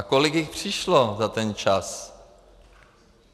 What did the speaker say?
A kolik jich přišlo za ten čas?